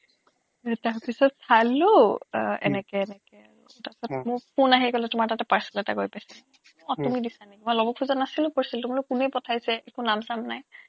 তাৰপিছত চালো এনেকে এনেকে তাৰপিছত মোৰ phone আহি গ'ল তোমাৰ তাতে parcel এটা গৈ পাইছে আপুনি দিছে নেকি মই ল'ব খোজা নাছিলো parcel টো মই বোলো কোনে পঠাইছে একো নাম চাম নাই